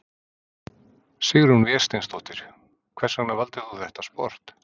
Sigrún Vésteinsdóttir: Hvers vegna valdir þú þetta sport?